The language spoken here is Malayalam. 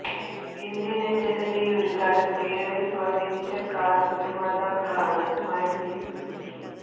ഇന്ത്യന് ജനതയെ ഒരു കാലത്ത് ഏറെ സ്വാധീനിച്ച കാര് നിര്മ്മാതാക്കളാണ് മാരുതി സുസൂക്കി